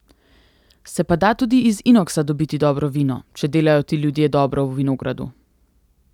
Se pa da tudi iz inoksa dobiti dobro vino, če delajo ti ljudje dobro v vinogradu ...